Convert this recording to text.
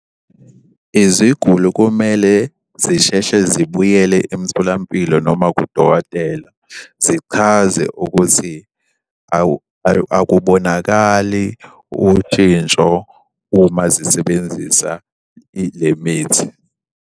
Iziguli kumele zisheshe zibuyele emtholampilo noma kudokotela zichaze ukuthi akubonakali ushintsho uma zisebenzisa le mithi.